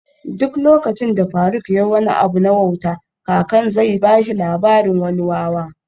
Duk lokacin da faruk yayi wani abu na wauta kakan zai bashi labarin wani wawa